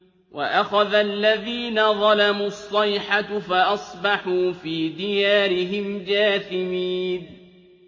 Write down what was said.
وَأَخَذَ الَّذِينَ ظَلَمُوا الصَّيْحَةُ فَأَصْبَحُوا فِي دِيَارِهِمْ جَاثِمِينَ